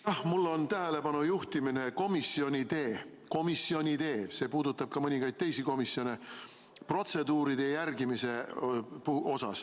Ma soovin tähelepanu juhtida komisjonide – see puudutab ka mõningaid teisi komisjone – protseduuride järgimisele.